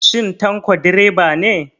Shin Tanko direba ne?